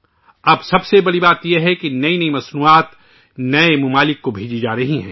اب سب سے بڑی بات یہ ہے کہ نئی مصنوعات نئے ممالک کو بھیجی جا رہی ہیں